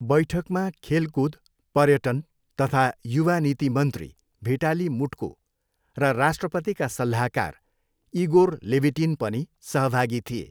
बैठकमा खेलकुद, पर्यटन तथा युवा नीति मन्त्री भिटाली मुट्को र राष्ट्रपतिका सल्लाहकार इगोर लेभिटिन पनि सहभागी थिए।